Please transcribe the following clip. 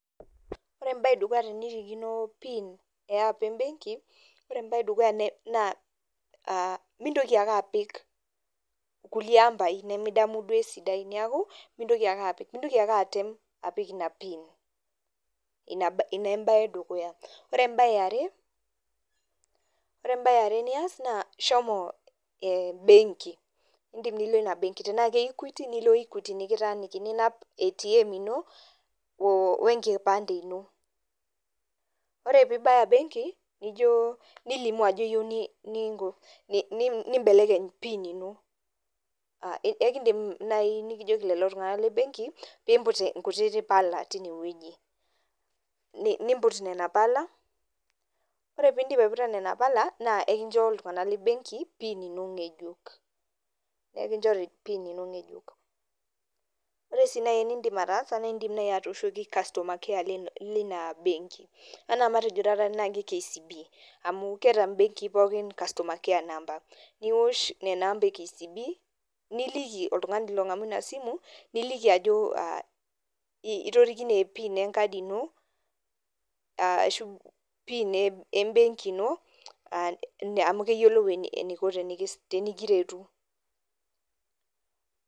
Ore ebae edukuya tenirikino PIN eh app ebenki, ore ebae edukuya naa mintoki ake apik kulie ambai nimidamu duo esidai. Neeku, mintoki ake apik. Mintoki ake atem apik ina PIN. Ina ebae edukuya. Ore ebae eare, ore ebae eare nias naa shomo benki. Idim nilo ina benki tenaa ke Equity nilo Equity nikitaaniki. Ninap ATM ino, o enkipande ino. Ore pibaya benki, nijo nilimu ajo yieu ninko nibelekeny PIN ino. Ekidim nai nikijoki lelo tung'anak lebenki, pimput nkutiti pala tinewueji. Nimput nena pala, ore pidip aiputa nena pala, naa ekincho iltung'anak lebenki PIN ino ng'ejuk. Ekinchori PIN ino ng'ejuk. Ore si nai enidim ataasa na idim nai atooshoki customer care lina benki. Anaa matejo taata tenaa KCB. Amu keeta benkii pookin customer care number. Niwosh nena ampa e KCB, niliki oltung'ani long'amu inasimu, niliki ajo itorikine PIN enkadi ino, ashu PIN ebenki ino, amu keyiolou eniko tenikiretu.